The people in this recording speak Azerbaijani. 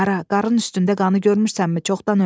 Ara, qarının üstündə qanı görmürsənmi?